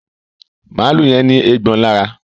Maalu yén ní Eégbọn lára